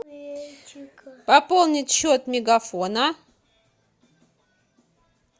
пополнить счет мегафона